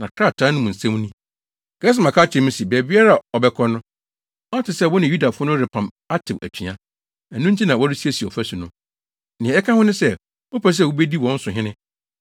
Na krataa no mu nsɛm ni: “Gesem aka akyerɛ me se, baabiara a ɔbɛkɔ no, ɔte sɛ wo ne Yudafo no repam atew atua; ɛno nti na woresiesie ɔfasu no. Nea ɛka ho ne sɛ, wopɛ sɛ wubedi wɔn so hene,